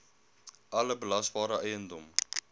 alle belasbare eiendom